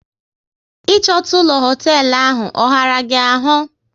Ị chọta ụlọ hoteelu ahụ, ọ ghara gị ahụ?